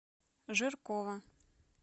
жиркова